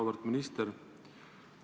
Auväärt minister!